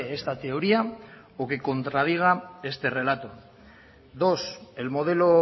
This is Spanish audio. esta teoría o que contradiga este relato dos el modelo